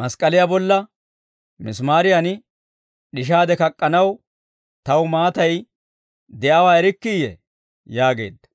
mask'k'aliyaa bolla misimaariyan d'ishaade kak'k'anaw taw maatay de'iyaawaa erikkiiyye?» yaageedda.